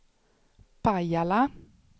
Pajala